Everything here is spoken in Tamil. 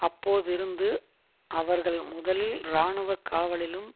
அப்போதிருந்து அவர்கள் முதலில் இராணுவ காவலிலும்